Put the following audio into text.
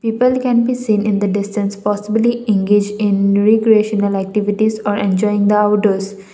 people can be seen in the distance possibly engage in regressional activities or enjoying the outdoors.